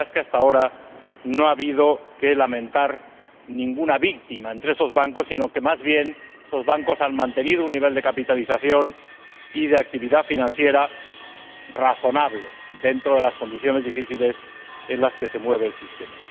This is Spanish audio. La verdad es que, hasta ahora, no ha habido que lamentar ninguna víctima entre esos bancos, sino que, más bien, esos bancos han mantenido un nivel de capitalización y de actividad financiera razonable dentro de las condiciones difíciles en las que se mueve el sistema.